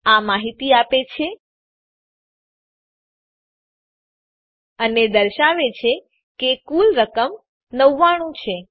આ માહિતી આપે છે અને આ દર્શાવે છે કે કુલ રકમ ૯૯ છે